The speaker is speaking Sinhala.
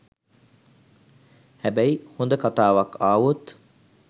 හැබැයි හොඳ කතාවක් ආවොත්